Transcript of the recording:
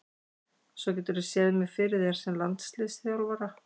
Svo geturðu séð mig fyrir þér sem landsliðsþjálfara?